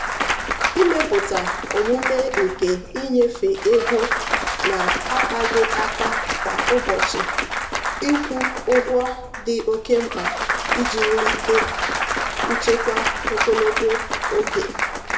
ịmepụta omume nke ịnyefe ego na-akpaghị aka kwa ụbọchị ịkwụ ụgwọ dị oke mkpa iji wulite nchekwa ogologo oge.